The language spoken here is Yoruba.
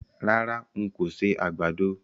Rárá, n kò ṣe àgbàdo.